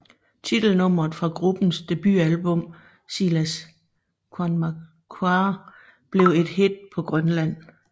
Titelnummeret fra gruppens debutalbum Sila Qaammareerpoq blev et hit på Grønland